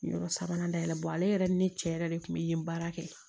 Yɔrɔ sabanan dayɛlɛ ale yɛrɛ ni ne cɛ yɛrɛ de kun bɛ yen baara kɛ